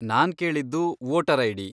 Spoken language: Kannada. ನಾನ್ ಕೇಳಿದ್ದು ವೋಟರ್ ಐ.ಡಿ.